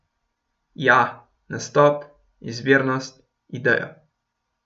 Ja, nastop, izvirnost, ideja.